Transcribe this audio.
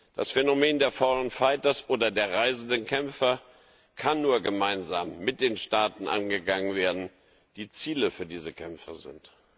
Das Phänomen der foreign fighters oder der reisenden Kämpfer kann nur gemeinsam mit den Staaten angegangen werden, die Ziele für diese Kämpfer sind.